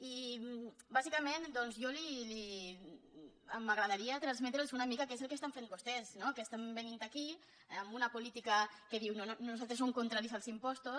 i bàsicament m’agradaria transmetre’ls una mica què és el que estan fent vostès no que estan venint aquí amb una política que diu nosaltres som contraris als impostos